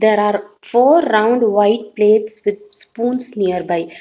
There are four round white plates with spoons nearby.